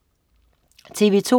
TV2: